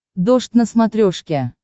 дождь на смотрешке